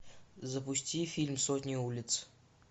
запусти фильм сотни улиц